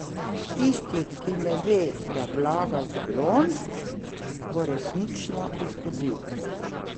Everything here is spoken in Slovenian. Tisti, ki ne ve, da vlaga v balon, pa bo resnično izgubil.